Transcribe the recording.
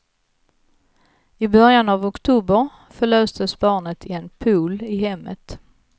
I början av oktober förlöstes barnet i en pool i hemmet.